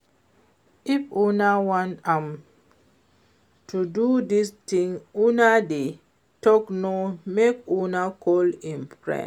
If una want am to do dis thing una dey talk now make una call im friend